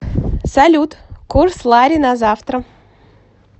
салют курс лари на завтра